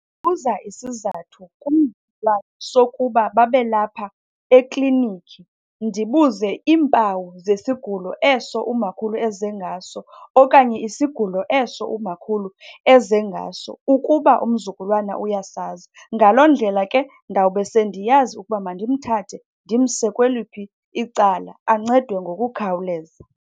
Buza isizathu kum sokuba babe lapha eklinikhi. Ndibuze iimpawu zesigulo eso umakhulu eze ngaso okanye isigulo eso umakhulu eze ngaso ukuba umzukulwana uyasazi. Ngaloo ndlela ke ndawube sendiyazi ukuba mandimthathe ndimse kweliphi icala, ancedwe ngokukhawuleza.